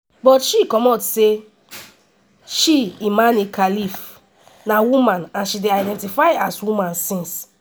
butshe comot say she imane khelif na woman and she dey identify as woman since.